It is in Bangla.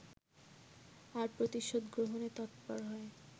আর প্রতিশোধ গ্রহণে তৎপর হয়